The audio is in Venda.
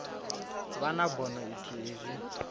vha na bono ithihi zwi